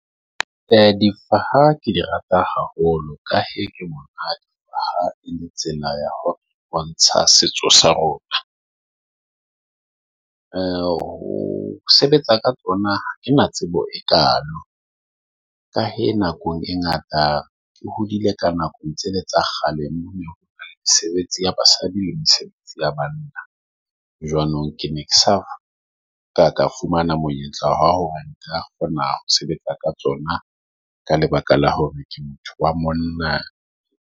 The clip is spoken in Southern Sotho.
E, difaha ke di rata haholo. Ka hee ha e ne tsena ya bontsha setso sa rona. Ho sebetsa ka tsona ha ke na tsebo e kaalo ka hee nako e ngata ke hodile ka nakong tsele tsa kgale mona. Mesebetsi ya basadi le mesebetsi ya bana jwanong ke ne ke sa ka ka fumana monyetla wa hore nka kgona ho sebetsa ka tsona ka lebaka la hore ke motho wa monna.